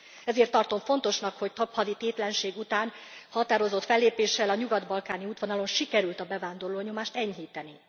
Ezért tartom fontosnak, hogy több havi tétlenség után határozott fellépéssel a nyugat balkáni útvonalon sikerült a bevándorló nyomást enyhíteni.